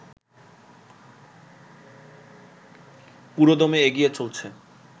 পুরোদমে এগিয়ে চলছে